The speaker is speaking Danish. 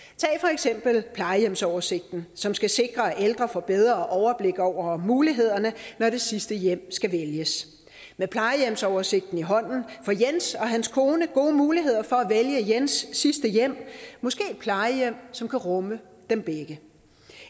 eksempel plejehjemsoversigten som skal sikre at ældre får bedre overblik over mulighederne når det sidste hjem skal vælges med plejehjemsoversigten i hånden får jens og hans kone gode muligheder for at vælge jens sidste hjem måske et plejehjem som kan rumme dem begge